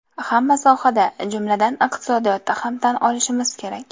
Hamma sohada, jumladan, iqtisodiyotda ham tan olishimiz kerak.